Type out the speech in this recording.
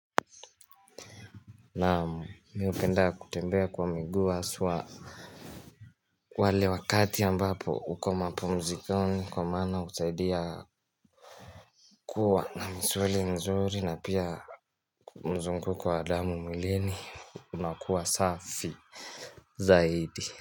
Naam, mimi hupenda kutembea kwa miguu haswaa wale wakati ambapo uko mapumzikoni kwa maana husaidia kuwa na msweli mzuri na pia mzunguko wa damu mwilini unakuwa safi zaidi.